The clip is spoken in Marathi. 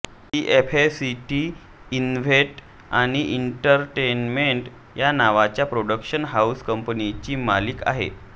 ती एफएटीसी इव्हेंट आणि एंटरटेनमेंट नावाच्या प्रोडक्शन हाऊस कंपनीची मालक आहे